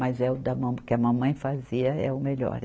Mas é o da mama, que a mamãe fazia, é o melhor.